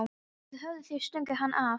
Eða höfðu þeir stungið hann af?